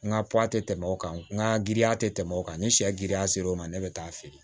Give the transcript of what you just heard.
N ka tɛ tɛmɛ o kan n ka giriya tɛ tɛmɛ o kan ni sɛ griya ser'o ma ne bɛ taa feere